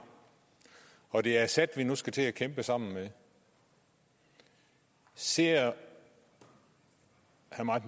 og det er assad vi nu skal til at kæmpe sammen med ser herre